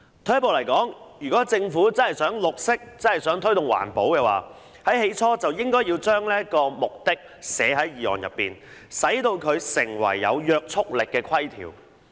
退一步而言，如果政府真的想"綠色"，真的想推動環保，最初就應該將這個目的寫進決議案內，使它成為有約束力的條文。